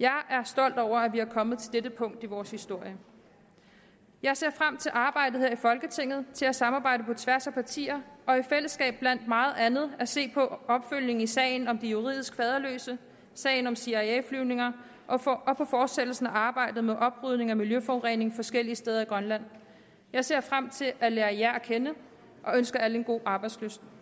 jeg er stolt over at vi er kommet til dette punkt i vores historie jeg ser frem til arbejdet her i folketinget til at samarbejde på tværs af partier og i fællesskab blandt meget andet at se på opfølgning i sagen om de juridisk faderløse sagen om cia flyvningerne og fortsættelsen af arbejdet med oprydning efter miljøforurening forskellige steder i grønland jeg ser frem til at lære jer at kende og ønsker alle god arbejdslyst